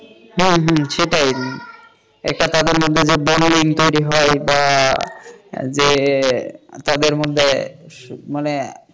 হ্যাঁ হ্যাঁ সেটাই একটা তাদের মধ্যে যে bonding তৈরি হয় বা জে তাদের মধ্যে মানে,